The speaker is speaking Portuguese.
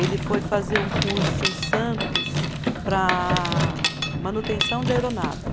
Ele foi fazer um curso em Santos para manutenção de aeronave.